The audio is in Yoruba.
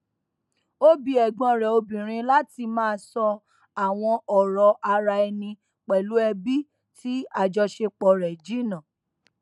ó bi ẹgbọn rẹ obìnrin láti má sọ àwọn ọrọ ara ẹni pẹlú ẹbí tí àjọṣepọ rẹ jìnnà